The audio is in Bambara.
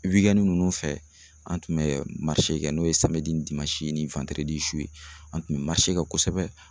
nunnu fɛ an tun bɛ kɛ n'o ye ni su ye an tun bɛ kɛ kosɛbɛ.